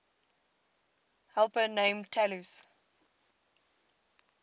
helper named talus